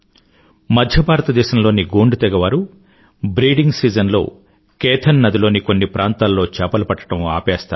మధ్య భారతదేశంలోని గోండ్ తెగవారు బ్రీడింగ్ సీజన్ లో కేథన్ నదిలోని కొన్ని ప్రాంతాల్లో చేపలు పట్టడం ఆపేస్తారు